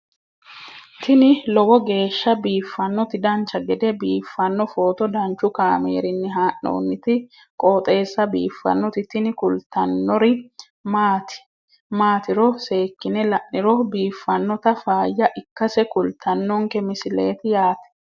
tini lowo geeshsha biiffannoti dancha gede biiffanno footo danchu kaameerinni haa'noonniti qooxeessa biiffannoti tini kultannori maatiro seekkine la'niro biiffannota faayya ikkase kultannoke misileeti yaate